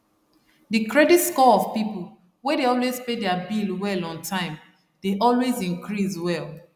the credit score of people wey dey always pay their bill well on time dey always increase well